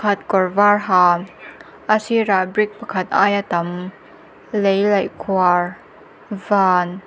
khat kawr var ha a sirah brick pakhat aia tam lei laih khuar van--